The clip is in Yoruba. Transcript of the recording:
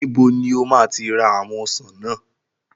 Níbo ni o máa ti ra àwọn ọsàn náà?